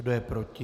Kdo je proti?